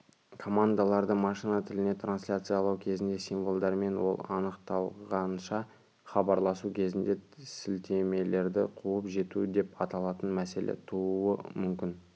командаларды машина тіліне трансляциялау кезінде символдармен ол анықталғанша хабарласу кезінде сілтемелерді қуып жету деп аталатын мәселе тууы мүмкін